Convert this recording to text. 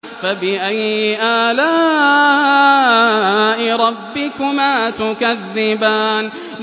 فَبِأَيِّ آلَاءِ رَبِّكُمَا تُكَذِّبَانِ